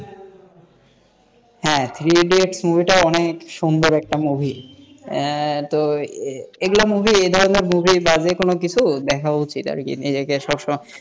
হ্যাঁ Three Idiots movie টা অনেক সুন্দর একটা movie তো এগুলো movie এই ধরনের movie যে কোনো কিছু দেখা উচিত আর কি নিজেকে সবসময়,